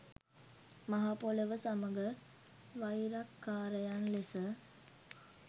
මහ පොළොව සමග වෛරක්කාරයන් ලෙස